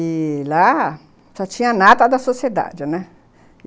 E lá só tinha a nata da sociedade, né?